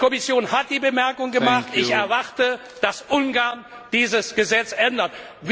ändern. Die Kommission hat die Bemerkungen gemacht, ich erwarte, dass Ungarn dieses Gesetz